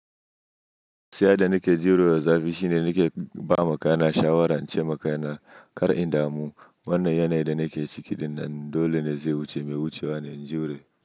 Siya da nake jurewa zafi, shi ne nake ba ma kana shawara ce ma kaina kar indamu. Wannan yanayin da nake ciki, dinnan dole ne zai wuce mai wucewa in jure.